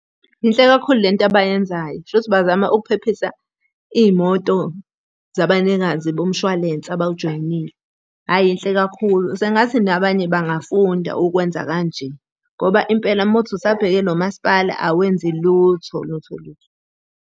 Yinhle kakhulu lento abayenzayo, shuthi bazama ukuphephisa iy'moto zabanikazi bomshwalense abawujoyinile. Hhayi yinhle kakhulu. sengathi nabanye bangafunda ukwenza kanje. Ngoba impela uma kuwukuthi usabheke nomaspala awenzi lutho lutho lutho.